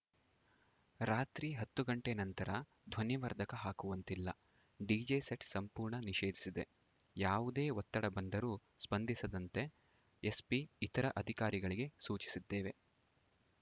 ರಾತ್ರಿ ಹತ್ತು ಗಂಟೆ ನಂತರ ಧ್ವನಿವರ್ಧಕ ಹಾಕುವಂತಿಲ್ಲ ಡಿಜೆ ಸೆಟ್‌ ಸಂಪೂರ್ಣ ನಿಷೇಧಿಸಿದೆ ಯಾವುದೇ ಒತ್ತಡ ಬಂದರೂ ಸ್ಪಂದಿಸದಂತೆ ಎಸ್ಪಿ ಇತರ ಅಧಿಕಾರಿಗಳಿಗೆ ಸೂಚಿಸಿದ್ದೇವೆ